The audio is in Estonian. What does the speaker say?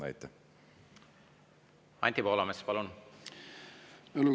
Anti Poolamets, palun!